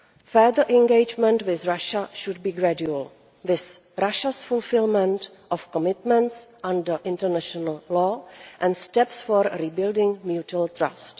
Further engagement with Russia should be gradual, with Russia's fulfilment of commitments under international law and steps for rebuilding mutual trust.